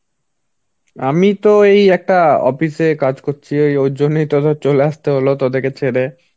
আমি তো এই একটা Office এ কাজ করছি. ওই ওর জন্যই তো চলে আসতে হলো তোদেরকে ছেড়ে